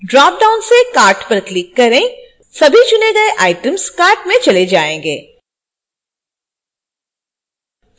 dropdown से cart पर click करें सभी चुनें all items cart में चले जाएँगे